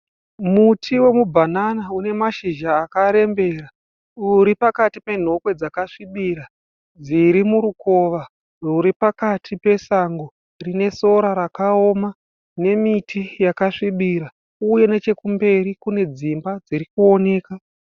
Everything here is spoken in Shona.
Muti wemubhanana unemashizha akarembera. Uripakati penhokwe dzasvibira. Dzirimurukova rwuri pakati pesango rine sora rakaoma nemiti yakasvibira. Uye nechekumberi kune dzimba dzirikuoneka.